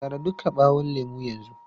Tara duka ɓawon lemun yanzu!